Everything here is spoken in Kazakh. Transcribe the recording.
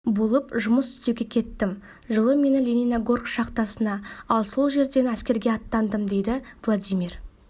болып жұмыс істеуге кеттім жылы мені лениногорск шахтасына ал сол жерден әскерге аттандым дейді владимир